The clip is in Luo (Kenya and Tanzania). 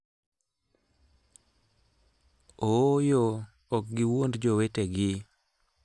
Ooyo, ok giwuond jowetegi!